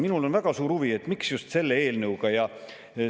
Minul on väga suur huvi, et miks just selle.